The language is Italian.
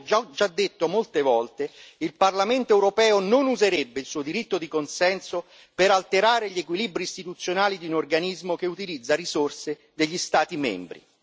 Come già detto molte volte, il Parlamento europeo non userebbe il suo diritto di consenso per alterare gli equilibri istituzionali di un organismo che utilizza risorse degli Stati membri.